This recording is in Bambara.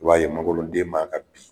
I b'a ye magoro den ma ka bi